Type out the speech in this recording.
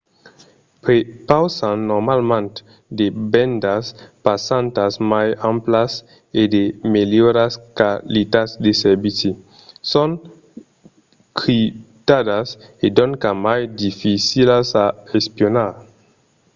prepausan normalament de bendas passantas mai amplas e de melhoras qualitats de servici. son criptadas e doncas mai dificilas a espionar